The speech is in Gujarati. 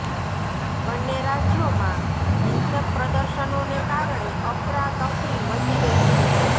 બંને રાજ્યોમાં હિંસક પ્રદર્શનોને કારણે અફરાતફરી મચી ગઇ છે